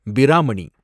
Brahmani